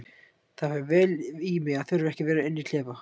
Það fer vel í mig að þurfa ekki að vera inni í klefa.